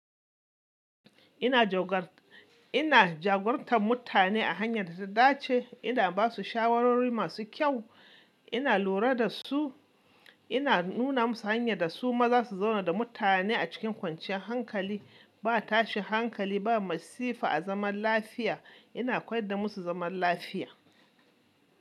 Ina jagor, ina jagorantar mutane a hanyar da ta dace, ina ba su shawarwari masu kyau, ina lura da su, ina nuna musu hanyar da su ma zasu zauna da mutane a cikin kwanciyar hankali, ba tashin hankali, ba masifa a zaman lafiya. Ina koyar da musu zaman lafiya.